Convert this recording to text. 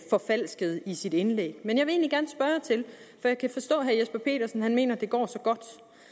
forfalskede i sit indlæg jeg kan forstå at mener at det går så godt